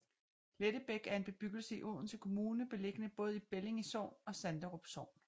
Lettebæk er en bebyggelse i Odense Kommune beliggende både i Bellinge Sogn og Sanderum Sogn